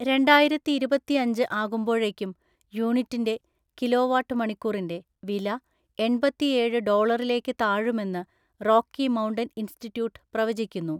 രണ്ടായിരത്തിഇരുപത്തിഅഞ്ച് ആകുമ്പോഴേക്കും യൂണിറ്റിൻ്റെ (കിലോവാട്ട് മണിക്കൂറിൻ്റെ) വില, എണ്‍പത്തിഏഴ് ഡോളറിലേക്ക് താഴുമെന്ന് റോക്കി മൗണ്ടൻ ഇൻസ്റ്റിറ്റ്യൂട്ട് പ്രവചിക്കുന്നു.